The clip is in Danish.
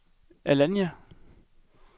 Alanya